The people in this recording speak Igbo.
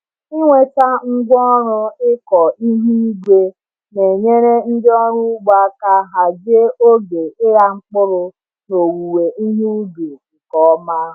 Ịnweta ngwaọrụ ịkọ ihu igwe na-enyere ndị ọrụ ugbo aka hazie oge ịgha mkpụrụ na owuwe ihe ubi nke ọma.